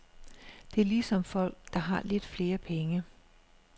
Det er ligesom folk, der har lidt flere penge.